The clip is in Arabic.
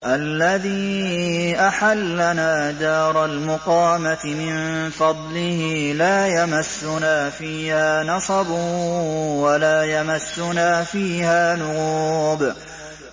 الَّذِي أَحَلَّنَا دَارَ الْمُقَامَةِ مِن فَضْلِهِ لَا يَمَسُّنَا فِيهَا نَصَبٌ وَلَا يَمَسُّنَا فِيهَا لُغُوبٌ